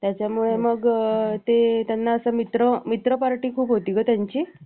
त्याच्यामुळे मग ते त्यांना असं मित्र party खूप होती ग त्यांची